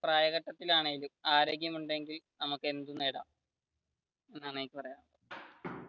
പ്രായത്തിലാണെങ്കിലും ആരോഗ്യം ഉണ്ടെങ്കിൽ നമുക്ക് എന്തും നേടാം എന്നാണ് എനിക്ക് പറയാനുള്ളത്.